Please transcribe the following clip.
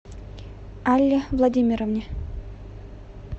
алле владимировне